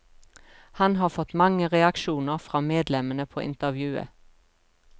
Han har fått mange reaksjoner fra medlemmene på intervjuet.